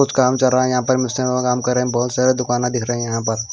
कुछ काम चल रहा है यहां पर मिस्त्री लोगा काम कर रहे बहुत सारे दुकाना दिख रहे यहां पर--